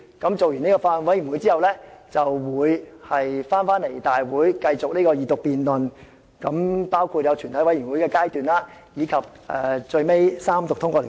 待法案委員會完成審議後，再提交立法會會議進行二讀辯論，全體委員會階段，以及最後三讀通過法案。